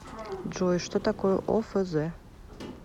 джой что такое офз